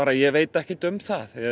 ég veit ekkert um það